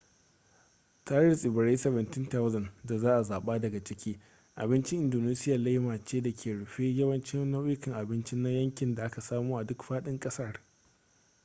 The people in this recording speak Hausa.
tare da tsibirai 17,000 da za a zaɓa daga ciki abincin indonesiya laima ce da ke rufe yawancin nau'ikan abinci na yanki da aka samo a duk faɗin ƙasar